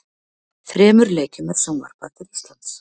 Þremur leikjum er sjónvarpað til Íslands.